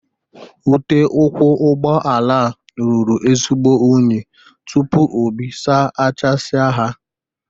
Ute ụkwụ ụgbọala a ruru ezigbo unyi tupu Obi saachasia ha.